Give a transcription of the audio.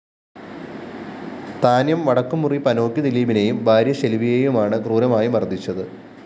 താന്ന്യം വടക്കുംമുറി പനോക്കി ദിലീപിനേയും ഭാര്യ ശെല്‍വിയേയുമാണ് ക്രൂരമായി മര്‍ദ്ദിച്ചത്